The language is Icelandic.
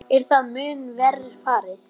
Er það mun verr farið.